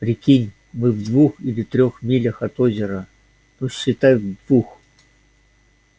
прикинь мы в двух или трёх милях от озера ну считай в двух